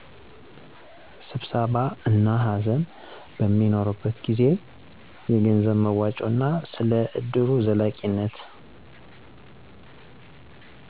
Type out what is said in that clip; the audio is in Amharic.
ስብሰባ እና ሃዘን በሚኖርበት ጊዜ። የገንዘብ መዋጮ እና ስለ እድሩ ዘላቂነት